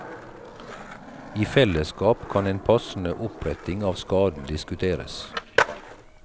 I fellesskap kan en passende oppretting av skaden diskuteres.